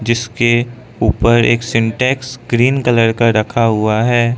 इसके ऊपर एक सिंटेक्स ग्रीन कलर का रखा हुआ है।